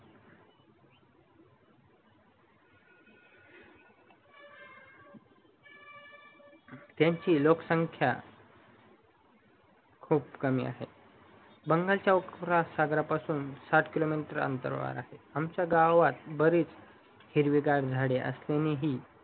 त्यांची लोकसंख्या खूप कमी आहे बंगालच्या उपमहा सागरपासून साथ केलो मीटर अंतरावर आहे आमच्या गावात बरेच हिरवे गार झाडे असल्यानेही